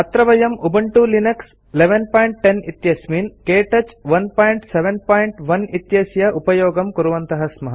अत्र वयं Ubuntu Linux 1110 इत्यस्मिन् क्तौच 171 इत्यस्य उपयोगं कुर्वन्तः स्मः